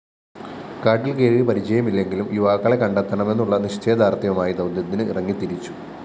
കാട്ടില്‍ കയറി പരിചയമില്ലെങ്കിലും യുവാക്കളെ കണ്ടെത്തണമെന്നുള്ള നിശ്ചയദാര്‍ഢ്യവുമായി ദൗത്യത്തിന് ഇറങ്ങിതിരിച്ചു